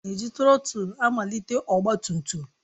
A na-eji trotul malite ọgba tum tum